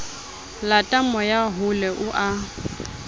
lata moya hole o a